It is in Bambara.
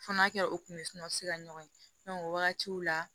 Fɔnɔ kɛ o kun bɛ sunɔgɔ sira ɲɔgɔn ye o wagatiw la